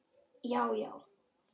Já já.